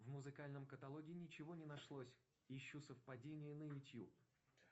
в музыкальном каталоге ничего не нашлось ищу совпадение на ютуб